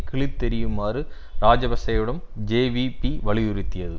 கிழித்தெறியுமாறு இராஜபக்ஷவிடம் ஜேவிபி வலியுறுத்தியது